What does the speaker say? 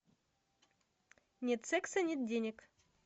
нет секса нет денег